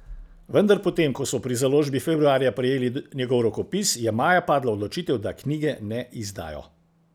Vendar po tem ko so pri založbi februarja prejeli njegov rokopis, je maja padla odločitev, da knjige ne izdajo.